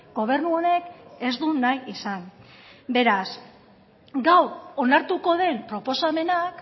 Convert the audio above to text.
gobernu honek ez du nahi izan beraz gaur onartuko den proposamenak